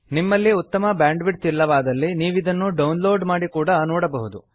ನಿಮ್ಮಲ್ಲಿ ಉತ್ತಮ ಬ್ಯಾಂಡ್ವಿಡ್ಥ್ ಇಲ್ಲವಾದಲ್ಲಿ ನೀವಿದನ್ನು ಡೌನ್ಲೋಡ್ ಮಾಡಿ ಕೂಡಾ ನೋಡಬಹುದು